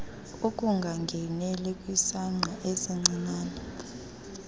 ukungangeneli kwisangqa esincinane